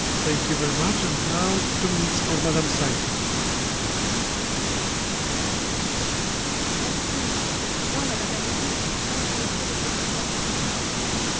Monsieur le Président, Madame la Ministre, Monsieur le Commissaire Barnier, chers collègues, je voudrais, d'abord, comme d'autres collègues l'ont fait, présenter mes condoléances aux familles des victimes.